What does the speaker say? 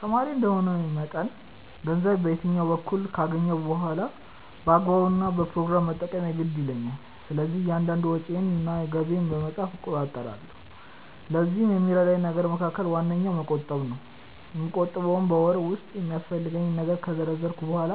ተማሪ እንደመሆኔ መጠን ገንዘብ በየትኛውም በኩል ካገኘሁ በኋላ በአግባቡ እና በፕሮግራም መጠቀም የግድ ይለኛል። ስለዚህም እያንዳንዷን ወጪዬን እና ገቢዬን በመጻፍ እቆጣጠራለሁ። ለዚህም ከሚረዳኝ ነገር መካከል ዋነኛው መቆጠብ ነው። የምቆጥበውም በወር ውስጥ የሚያስፈልገኝን ነገር ከዘረዘርኩ በኋላ